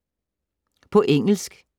På engelsk